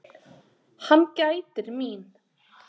Hann gætir mín.